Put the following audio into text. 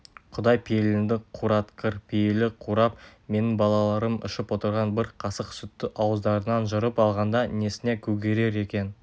құдай пейіліңді қуратқыр пейілі қурап менің балаларым ішіп отырған бір қасық сүтті ауыздарынан жырып алғанда несіне көгерер екен